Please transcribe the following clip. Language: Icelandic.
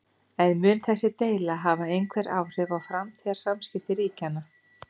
En mun þessi deila hafa einhver áhrif á framtíðar samskipti ríkjanna?